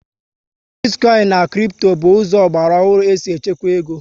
Bitikoinu and kripto bụ ụzọ ọgbara ohu esi echekwa égo